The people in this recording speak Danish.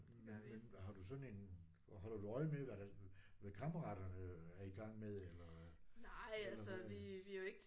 Men har du sådan en og holder du øje med hvad der hvad kammeraterne er i gang med eller? Eller hvad